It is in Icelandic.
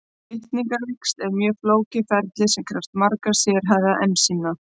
Litningavíxl eru mjög flókið ferli sem krefst margra sérhæfðra ensíma.